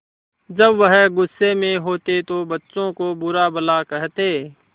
जब वह गुस्से में होते तो बच्चों को बुरा भला कहते